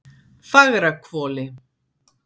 Fagrahvoli